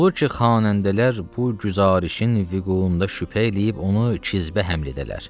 Olur ki, xanəndələr bu güzarışın vüquunda şübhə eləyib onu kəzbə həml edələr.